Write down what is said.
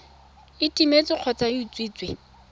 e timetse kgotsa e utswitswe